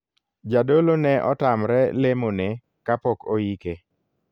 Jadolo ne otamre lemo ne kapok oike.